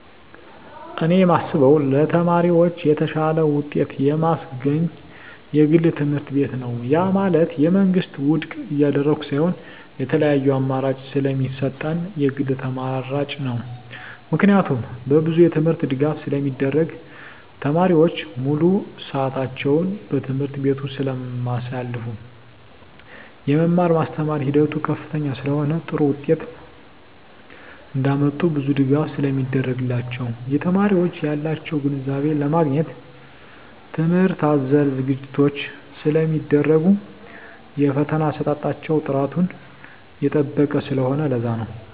እኔ የማስበው ለተማሪዎች የተሻለ ውጤት የማስገኝ የግል ትምህርትቤት ነው ያ ማለት የመንግስትን ውድቅ እያደረኩ ሳይሆን የተለያዪ አማራጭ ስለሚሰጠን የግል ተመራጭ ነው። ምክንያቱም በብዙ የትምህርት ድጋፍ ስለሚደረግ , ተማሪዎች ሙሉ ስዕታቸውን በትምህርት ቤቱ ስለማሳልፋ , የመማር ማስተማር ሂደቱ ከፍተኛ ስለሆነ ጥሩ ውጤት እንዳመጡ ብዙ ድጋፍ ስለሚደረግላቸው , የተማሪዎች ያላቸውን ግንዛቤ ለማግኘት ትምህርት አዘል ዝግጅቶች ስለሚደረጉ የፈተና አሰጣጣቸው ጥራቱን የጠበቀ ስለሆነ ለዛ ነው